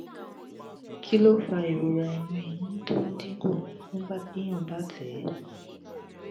kí ló ń fa ìrora inu eyín tó ń dín kù nígbà téèyàn bá ń tẹ?